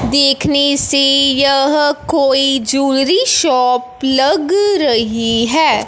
देखनी से यह कोई जूलरी शॉप लग रही हैं।